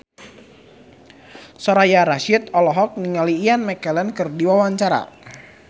Soraya Rasyid olohok ningali Ian McKellen keur diwawancara